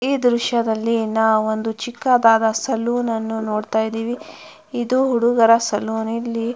ಈ ದೃಶ್ಯದಲ್ಲಿ ನಾವು ಒಂದು ಚಿಕ್ಕದಾದ ಸಲೂನ್ ಅನ್ನು ನೋಡ್ತಾ ಇದೀವಿ ಇದು ಹುಡುಗರ ಸಲೂನ್ ಇಲ್ಲಿ.